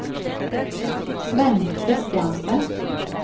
Svenn Kristiansen